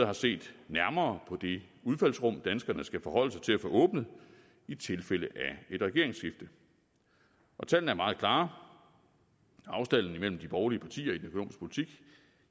har set nærmere på det udfaldsrum danskerne skal forholde sig til at få åbnet i tilfælde af et regeringsskifte tallene er meget klare afstanden imellem de borgerlige partier